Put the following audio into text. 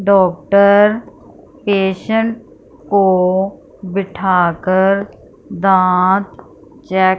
doctor patient को बिठाकर दांत चेक --